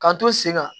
K'an to sen kan